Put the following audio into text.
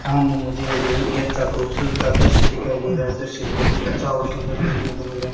सामने मुझे एक बहुत ही अच्छा खूबसूरत सा दृश्य दिखाई दे रहा है दृश्य बहुत ही अच्छा और सुंदर देखने को मिल रहा है।